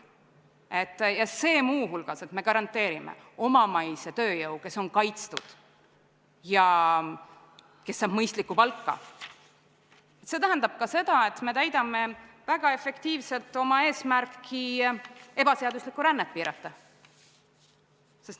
Ja kui me garanteerime omamaise tööjõu, kes on kaitstud ja kes saab mõistlikku palka, siis see tähendab ka seda, et me täidame väga efektiivselt eesmärki ebaseaduslikku rännet piirata.